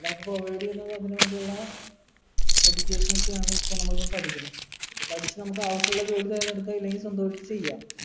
already അതിന് വേണ്ടിയുള്ള education ഒക്കെയാണ് ഇപ്പൊ നമ്മളിപ്പോ പഠിക്കണേ ഇത് പഠിച്ചു നമുക്ക് ആവശ്യമുള്ള ജോലി നേടി എടുക്കാം ഇല്ലെങ്കി സ്വന്തായിട്ട് ചെയാം